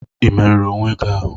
Ị merụrụ onwe gị ahụ?